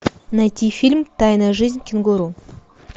найти фильм тайная жизнь кенгуру